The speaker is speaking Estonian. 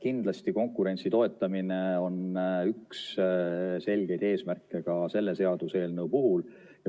Kindlasti konkurentsi toetamine on üks selge eesmärk ka selle seaduseelnõu puhul.